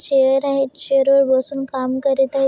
Chair आहेत chair वर बसून काम करत आहेत.